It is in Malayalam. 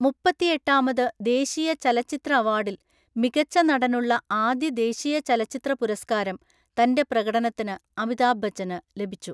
മുപ്പത്തിയെട്ടാമത് ദേശീയ ചലച്ചിത്ര അവാർഡിൽ മികച്ച നടനുള്ള ആദ്യ ദേശീയ ചലച്ചിത്ര പുരസ്കാരം തന്റെ പ്രകടനത്തിന് അമിതാഭ് ബച്ചന് ലഭിച്ചു.